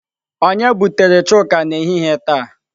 Onye butere chuka n'ehihie n'ehihie taa?